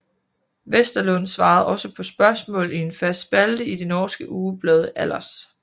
Westerlund svarede også på spørgsmål i en fast spalte i det norske ugeblad Allers